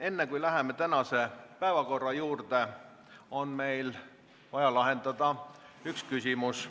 Enne, kui me läheme tänase päevakorra juurde, on vaja lahendada üks küsimus.